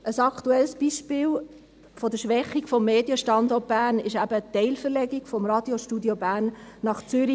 Ein aktuelles Beispiel der Schwächung des Medienstandorts Bern ist eben eine Teilverlegung des Radiostudios Bern nach Zürich.